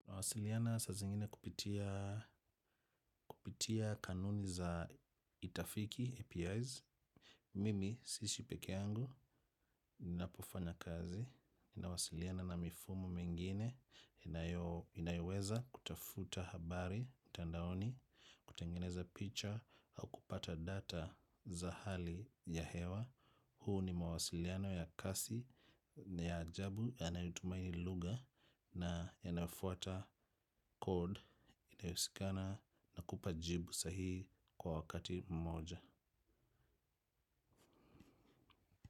Nawasiliana saa zingine kupitia kanuni za itafiki, APIs. Mimi, siishi peke yangu, napofanya kazi. Nawasiliana na mifumo mengine, inayoweza kutafuta habari, mtandaoni, kutengeneza picha, au kupata data za hali ya hewa. Huu ni mawasiliano ya kasi, ya jabu, yanayotumai lugha, na yanafuata code inewezekana na kupa jibu sahihi kwa wakati mmoja.